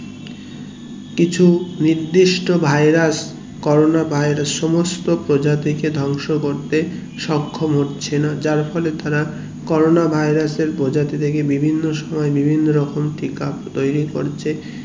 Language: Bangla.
কিছু নির্দিষ্ট virus corona virus সমস্ত প্রজাতিকে ধ্বংস করতে সক্ষম হচ্ছে না যার ফলে তারা corona virus এর প্রজাতি থেকে বিভিন্ন রকম টিকা তৈরী করছে